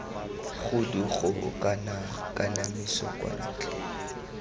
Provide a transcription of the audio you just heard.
khudugo kana kanamiso kwa ntle